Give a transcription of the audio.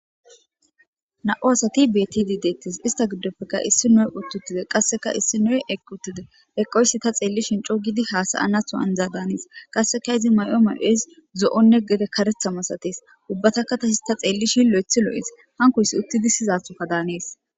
na7u asati btidi deettis ista giddopfeka issi noe uttuttide qasseka issi noy eqq uttide eqoysi ta xeellishin coogidi hasayanatho anzaa daanis qasseka izi may7o mal7es zo7onne gede karethamasatees ubbataka ta his ta xeellishin lo7ethi lo7es hankoyssi uttidi sizathoka daanees